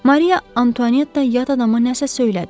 Maria Antuanetta yad adama nəsə söylədi.